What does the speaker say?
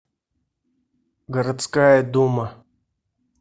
городская дума